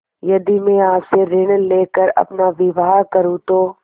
यदि मैं आपसे ऋण ले कर अपना विवाह करुँ तो